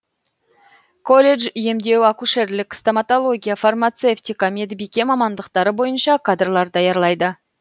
колледж емдеу акушерлік стоматология фармацевтика медбике мамандықтары бойынша кадрлар даярлайды